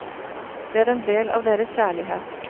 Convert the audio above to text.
Det er en del av deres kjærlighet.